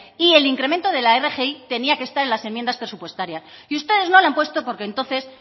y el incremento de la rgi tenía que estar en las enmiendas presupuestarias y ustedes no lo han puesto porque entonces